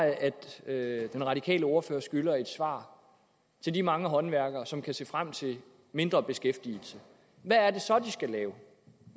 at den radikale ordfører skylder at give et svar til de mange håndværkere som kan se frem til mindre beskæftigelse hvad er det så de skal lave